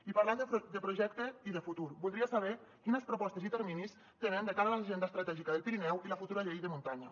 i parlant de projecte i de futur voldria saber quines propostes i terminis tenen de cara a l’agenda estratègica del pirineu i la futura llei de muntanya